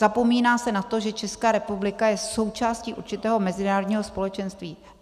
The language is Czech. Zapomíná se na to, že Česká republika je součástí určitého mezinárodního společenství.